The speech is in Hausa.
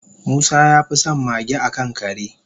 musa yafison mage akan kare